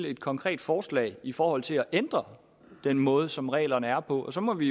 et konkret forslag i forhold til at ændre den måde som reglerne er på og så må vi